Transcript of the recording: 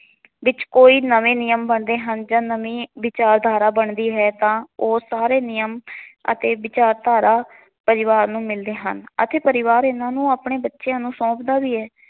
ਵਿੱਚ ਕੋਈ ਨਵੇ ਨਿਯਮ ਬਣਦੇ ਹਨ ਜਾਂ ਨਵੇ ਵਿਚਾਰਧਾਰਾ ਬਣਦੀ ਤਾਂ ਉਹ ਸਾਰੇ ਨਿਯਮ ਅਤੇ ਵਿਚਾਰਧਾਰਾ ਪਰਿਵਾਰ ਨੂੰ ਮਿਲਦੇ ਹਨ ਅਤੇ ਪਰਿਵਾਰ ਇਹਨਾਂ ਨੂੰ ਆਪਣੇ ਬਚਿਆ ਨੂੰ ਸੋਪਦਾ ਵੀ ਐ।